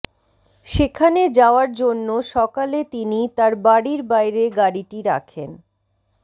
সেখানে যাওয়ার জন্য সকালে তিনি তার বাড়ির বাইরে গাড়িটি রাখেন